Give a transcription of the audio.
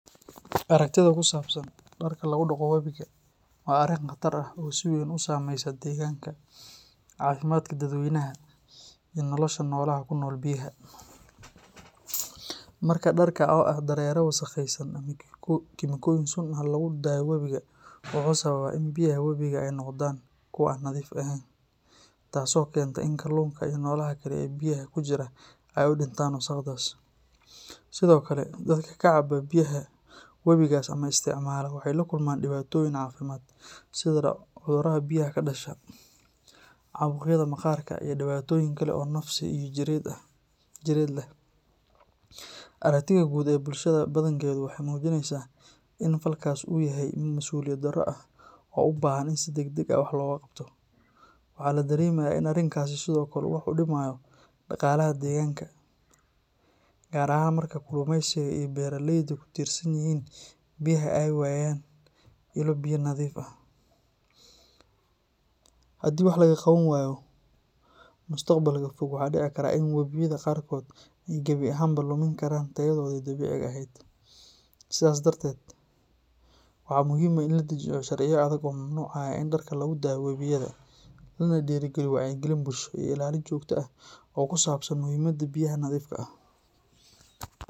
Aragtida ku saabsan darka lagu daqo wabiga waa arrin khatar ah oo si weyn u saameysa deegaanka, caafimaadka dadweynaha, iyo nolosha noolaha ku nool biyaha. Marka darka, oo ah dareere wasakhaysan ama kiimikooyin sun ah, lagu daayo wabiga, wuxuu sababaa in biyaha wabiga ay noqdaan kuwo aan nadiif ahayn, taasoo keenta in kalluunka iyo noolaha kale ee biyaha ku jira ay u dhintaan wasakhdaas. Sidoo kale, dadka ka cabba biyaha wabigaas ama isticmaala waxay la kulmaan dhibaatooyin caafimaad sida cudurro biyaha ka dhasha, caabuqyada maqaarka, iyo dhibaatooyin kale oo nafsi iyo jireed leh. Aragtida guud ee bulshada badankeedu waxay muujinaysaa in falkaas uu yahay mid masuuliyad darro ah oo u baahan in si degdeg ah wax looga qabto. Waxaa la dareemayaa in arinkani sidoo kale uu wax u dhimayo dhaqaalaha deegaanka, gaar ahaan marka kalluumaysiga iyo beeralayda ku tiirsan biyaha ay waayaan ilo biyo nadiif ah. Haddii wax laga qaban waayo, mustaqbalka fog waxaa dhici kara in wabiyada qaarkood ay gabi ahaanba lumin karaan tayadoodii dabiiciga ahayd. Sidaas darteed, waxaa muhiim ah in la dejiyo sharciyo adag oo mamnuucaya in darka lagu daayo wabiyada, lana dhiirrigeliyo wacyigelin bulsho iyo ilaalin joogto ah oo ku saabsan muhiimada biyaha nadiifka ah.